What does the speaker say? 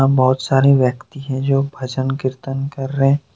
बहोत सारे व्यक्ती है जो भजन कीर्तन कर रहे --